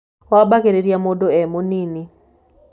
Wambagĩrĩria mũndũ e mũnini.